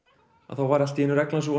var allt í einu reglan sú